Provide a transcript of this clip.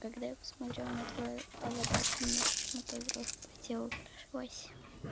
когда я посмотрела на твою аватарку мне почему-то дрожь по телу прошлась